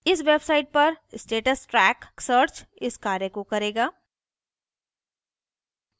इस website पर status track search इस कार्य को करेगा